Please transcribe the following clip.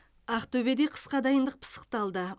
ақтөбеде қысқа дайындық пысықталды